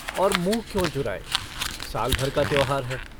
और मुँह क्यों चुराए? साल-भर का त्योहार है।